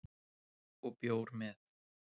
Og bjór með